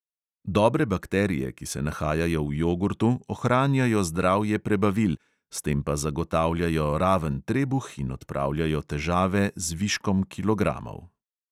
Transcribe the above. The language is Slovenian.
Dobre bakterije, ki se nahajajo v jogurtu, ohranjajo zdravje prebavil, s tem pa zagotavljajo raven trebuh in odpravljajo težave z viškom kilogramov.